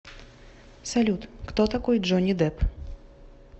салют кто такой джонни депп